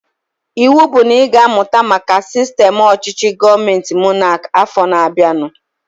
Ịwụ bụ na ị ga-amụta maka sistem ọchịchị gọọmenti monaki afọ na-abianu!